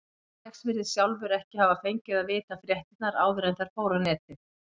Alex virðist sjálfur ekki hafa fengið að vita fréttirnar áður en þær fóru á netið.